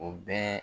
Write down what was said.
O bɛɛ